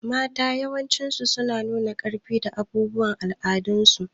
Mata yawanci suna nuna ƙarfi da abubuwan al'adun su.